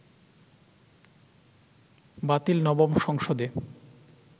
বাতিল নবম সংসদে